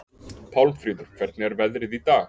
Pálmfríður, hvernig er veðrið í dag?